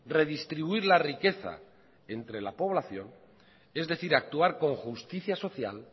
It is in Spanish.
redistribuir la riqueza entre la población es decir actuar con justicia social